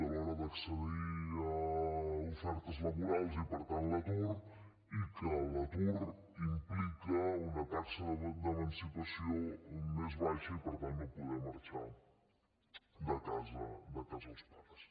a l’hora d’accedir a ofertes laborals i per tant l’atur i l’atur implica una taxa d’emancipació més baixa i per tant no poder marxar de casa els pares